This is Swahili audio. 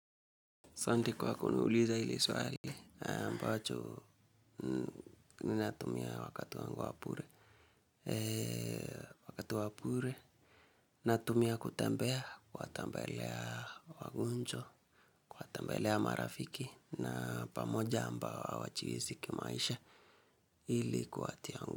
Asanti kwa kuniuliza ili swali, ambacho ni natumia wakati wangu wa pure. Wakati wa pure, natumia kutembea, kuwatembelea wagonjwa, kuwatembelea marafiki, na pamoja ambao hawajiezi kimaisha ili kuwatia ngu.